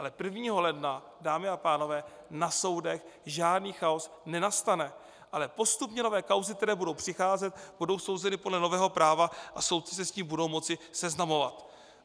Ale 1. ledna, dámy a pánové, na soudech žádný chaos nenastane, ale postupně nové kauzy, které budou přicházet, budou souzeny podle nového práva a soudci se s tím budou moci seznamovat.